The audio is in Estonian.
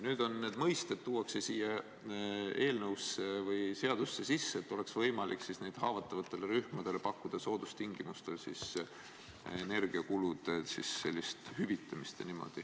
Nüüd need mõisted tuuakse siia eelnõusse või seadusesse sisse, et oleks võimalik haavatavatele rühmadele pakkuda soodustingimustel energiakulude hüvitamist.